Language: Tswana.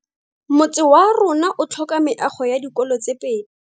Motse warona o tlhoka meago ya dikolô tse pedi.